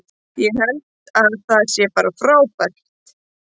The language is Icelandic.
Ég held að það sé bara frábært.